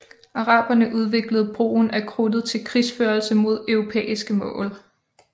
Araberne udviklede brugen af krudtet til krigsførelse mod europæiske mål